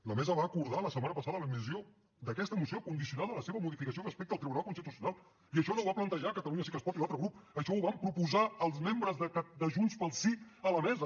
la mesa va acordar la setmana passada l’admissió d’aquesta moció condicionada a la seva modificació respecte al tribunat constitucional i això no ho van plantejar catalunya sí que es pot i un altre grup això ho van proposar els membres de junts pel sí a la mesa